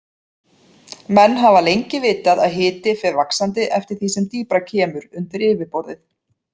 Menn hafa lengi vitað að hiti fer vaxandi eftir því sem dýpra kemur undir yfirborðið.